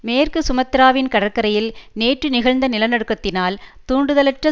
மேற்கு சுமத்ராவின் கடற்கரையில் நேற்று நிகழ்ந்த நிலநடுக்கத்தினால் தூண்டுதலுற்ற